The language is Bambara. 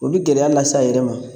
O bɛ gɛlɛya lase a yɛrɛ ma